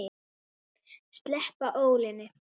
Sleppa ólinni.